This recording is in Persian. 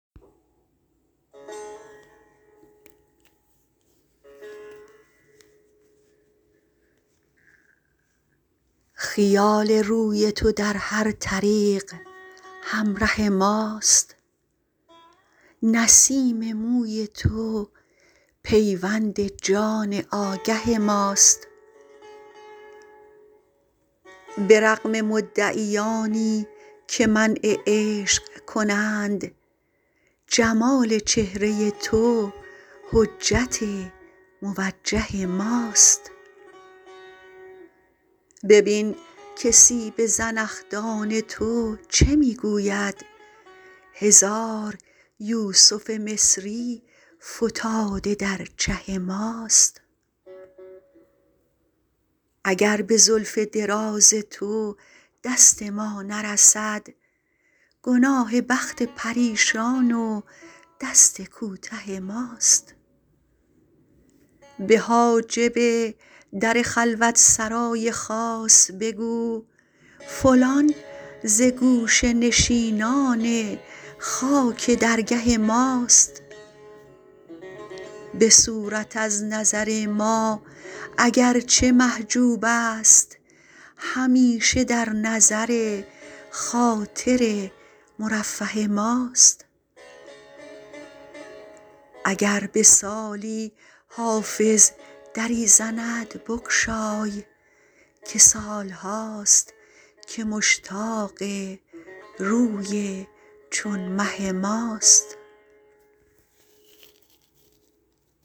خیال روی تو در هر طریق همره ماست نسیم موی تو پیوند جان آگه ماست به رغم مدعیانی که منع عشق کنند جمال چهره تو حجت موجه ماست ببین که سیب زنخدان تو چه می گوید هزار یوسف مصری فتاده در چه ماست اگر به زلف دراز تو دست ما نرسد گناه بخت پریشان و دست کوته ماست به حاجب در خلوت سرای خاص بگو فلان ز گوشه نشینان خاک درگه ماست به صورت از نظر ما اگر چه محجوب است همیشه در نظر خاطر مرفه ماست اگر به سالی حافظ دری زند بگشای که سال هاست که مشتاق روی چون مه ماست